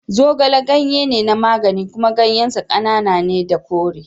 Zogale ganye ne na magani kuma ganyen sa ƙanana ne da kore.